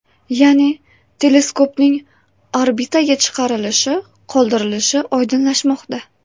Ya’ni teleskopning orbitaga chiqarilishi qoldirilishi oydinlashmoqda.